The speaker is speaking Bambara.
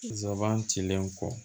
Zaban cilen kɔ